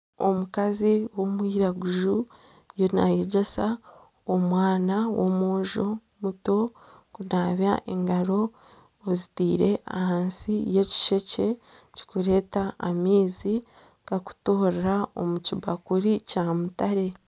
Omukazi w'omwiraguju naayegyesa omwana w'omwojo muto kunaaba engaro aziteire ahansi y'ekishekye kirikureeta amaizi gakutoorera omu kibakuri kya mutare.